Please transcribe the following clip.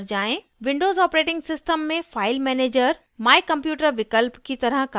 windows operating system में file manager my computer विकल्प की तरह कार्य करता है